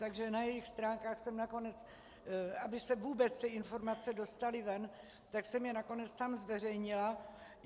Takže na jejich stránkách jsem nakonec... aby se vůbec ty informace dostaly ven, tak jsem je tam nakonec zveřejnila.